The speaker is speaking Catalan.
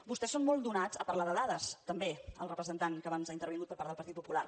vostès són molt donats a parlar de dades també el representant que abans ha intervingut per part del partit popular